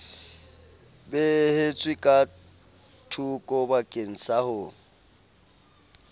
beehetswe ka thokobakeng sa ho